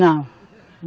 Não.